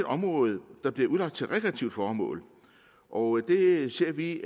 område der bliver udlagt til rekreative formål og det ser vi